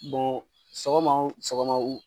sɔgɔma wo sɔgɔma